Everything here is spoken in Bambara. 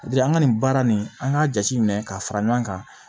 an ka nin baara nin an k'a jate minɛ k'a fara ɲɔgɔn kan